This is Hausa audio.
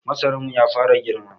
Masara namu ya fara girma.